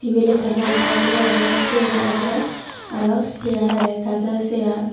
tibil ekkan lamba guri agey siyot awle araw sear agey gazo sear.